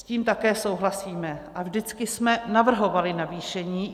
S tím také souhlasíme a vždycky jsme navrhovali navýšení.